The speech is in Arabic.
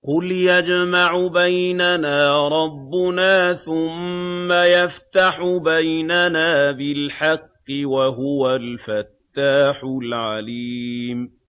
قُلْ يَجْمَعُ بَيْنَنَا رَبُّنَا ثُمَّ يَفْتَحُ بَيْنَنَا بِالْحَقِّ وَهُوَ الْفَتَّاحُ الْعَلِيمُ